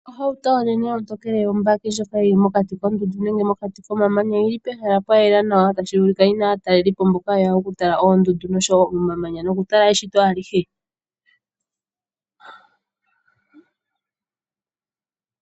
Ohauto onenene ontokele yobaki yi li mokati koondundu nenge omamanya. Oyi li pehala pwa yela nawa tashi vulika yi na aatalelipo mboka ye ya okutala oondundu oshowo omamanya nokutala eshito alihe.